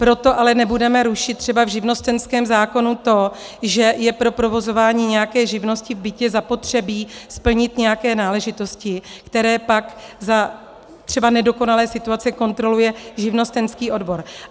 Proto ale nebudeme rušit třeba v živnostenském zákonu to, že je pro provozování nějaké živnosti v bytě zapotřebí splnit nějaké náležitosti, které pak za třeba nedokonalé situace kontroluje živnostenský odbor.